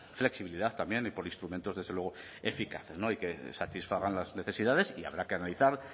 flexibilidad también y por instrumentos desde luego eficaces y que satisfagan las necesidades y habrá que analizar